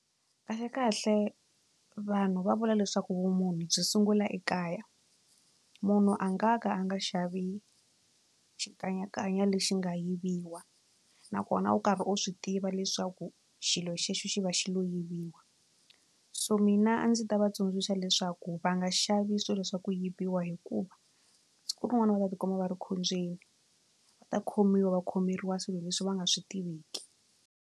Kahle kahle vanhu va vula leswaku vumunhu byi sungula ekaya munhu a nga ka a nga xavi xikanyakanya lexi nga yiviwa nakona u karhi u swi tiva leswaku xi lo xexo xi va xi lo yiviwa so mina a ndzi ta va tsundzuxa leswaku va nga xavi swilo swa ku yiviwa hikuva siku rin'wana va ta tikuma va ri khombyeni va ta khomiwa va khomeriwa swilo leswi va nga swi tiveki.